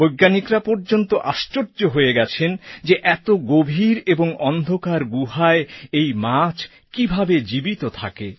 বৈজ্ঞানিকরা পর্যন্ত আশ্চর্য হয়ে গেছেন যে এত গভীর ও অন্ধকার গুহায় এই মাছ কীভাবে জীবিত থাকে